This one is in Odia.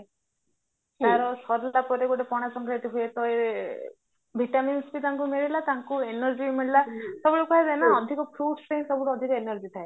ସାରିଲା ପରେ ଗୋଟେ ପଣା ଶଙ୍କରାନ୍ତି ହୁଏ ତ ଏ vitamin C ତାଙ୍କୁ ମିଳିଲା ତାଙ୍କୁନ energy ମିଳିଲା ସବୁବେଳେ କୁହାଯାଏ ନା ଅଧିକ fruitsରେ ହିଁ ସବୁଠୁ ଅଧିକ energy ଥାଏ